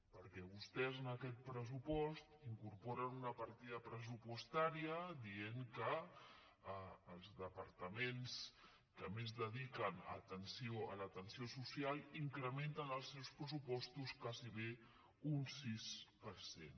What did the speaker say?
perquè vostès en aquest pressu·post incorporen una partida pressupostària dient que els departaments que més dediquen a l’atenció soci·al incrementen els seus pressupostos gairebé un sis per cent